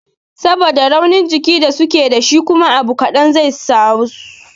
Saboda raunin jiki da suke dashi kuma abu kaɗan zai sasu rashin lafiya